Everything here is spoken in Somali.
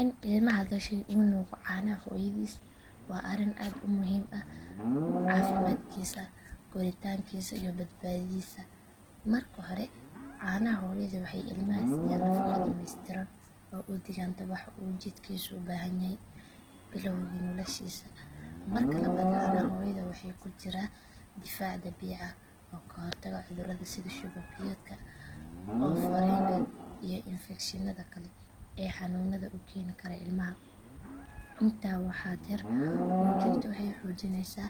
In ilmaha dhashay uu nuugo caanaha hooyadiis waa arrin aad u muhiim ah caafimaadkiisa, koritaankiisa iyo badbaadadiisa. Marka hore caanaha hooyadu waxay ilmaha siiyaan nafaqo dhamaystiran oo u dhiganta waxa uu jidhkiisu u baahan yahay bilowgii noloshiisa. Marka labaad caanaha hooyada waxaa ku jira difaac dabiici ah oo ka hortaga cudurrada sida shuban biyoodka, oof wareenka iyo infekshinnada kale ee xanuunada u keeni kara ilmaha. Intaa waxaa dheer nuujintu waxay xoojinaysaa